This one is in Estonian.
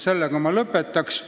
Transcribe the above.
Sellega ma lõpetan.